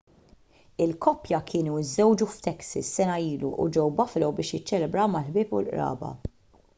il-koppja kienu żżewġu f'texas sena ilu u ġew buffalo biex jiċċelebraw mal-ħbieb u l-qraba